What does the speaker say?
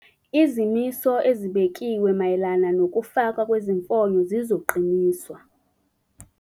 Izimiso ezibekiwe mayelana nokufakwa kwezimfonyo zizoqiniswa.